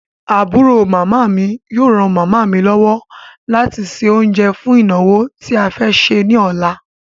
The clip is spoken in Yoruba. Àbúrò màmá mi yóò ran màmá mi lọ́wọ́ láti se oúnjẹ́ fún ìnàwó tí a fẹ́ ṣe ní ọ̀la.